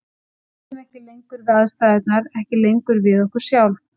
Við réðum ekki lengur við aðstæðurnar, ekki lengur við okkur sjálf.